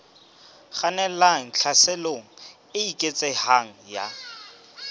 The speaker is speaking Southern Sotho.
kgannelang tlhaselong e eketsehang ya